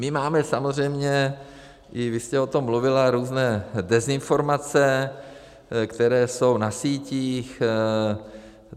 My máme samozřejmě, i vy jste o tom mluvila, různé dezinformace, které jsou na sítích.